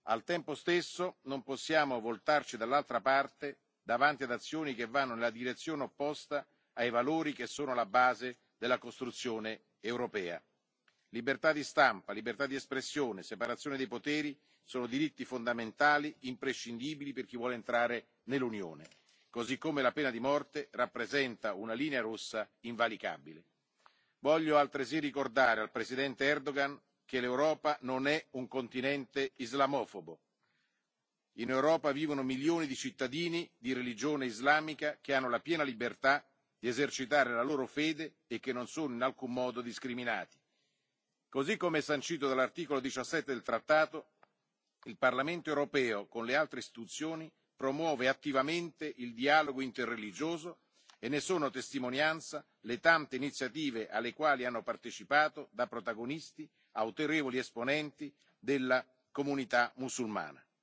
Al tempo stesso, non possiamo voltarci dall'altra parte davanti ad azioni che vanno nella direzione opposta ai valori che sono alla base della costruzione europea. Libertà di stampa, libertà d'espressione e separazione dei poteri sono diritti fondamentali imprescindibili per chi vuole entrare nell'Unione, così come la pena di morte rappresenta una linea rossa invalicabile. Voglio altresì ricordare al Presidente Erdogan che l'Europa non è un continente islamofobo. In Europa vivono milioni di cittadini di religione islamica, che hanno la piena libertà di esercitare la loro fede e che non sono in alcun modo discriminati. Così come sancito dall'articolo 17 del trattato, il Parlamento europeo con le altre istituzioni promuove attivamente il dialogo interreligioso e ne sono testimonianza le tante iniziative alle quali hanno partecipato da protagonisti autorevoli esponenti della comunità mussulmana.